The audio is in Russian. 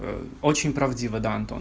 очень правдиво да антон